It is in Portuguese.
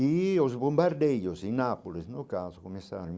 E os bombardeiros em Nápoles, no caso, começaram em.